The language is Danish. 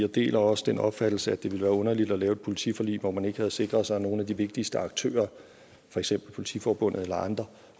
jeg deler også den opfattelse at det ville være underligt at lave et politiforlig hvor man ikke havde sikret sig at nogle af de vigtigste aktører for eksempel politiforbundet eller andre